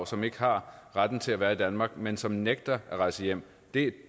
som ikke har retten til at være i danmark men som nægter at rejse hjem det